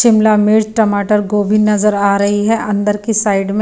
शिमला मिर्च टमाटर गोभी नजर आ रही है अंदर की साइड में।